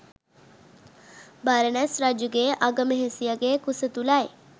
බරණැස් රජුගේ අගමෙහෙසියගේ කුස තුළයි.